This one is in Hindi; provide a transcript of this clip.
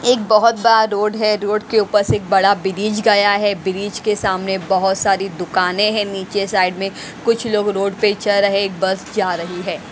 एक बहुत बड़ा रोड है रोड के ऊपर से एक बड़ा ब्रिज गया है ब्रिज के सामने बहुत सारी दुकानें हैं नीचे साइड में कुछ लोग रोड पे च रहे एक बस जा रही है।